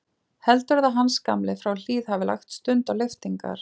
Heldurðu að Hans gamli frá Hlíð hafi lagt stund á lyftingar?